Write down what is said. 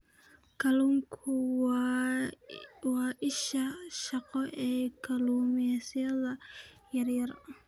Kalluunku waa isha shaqo ee kalluumaysatada yaryar.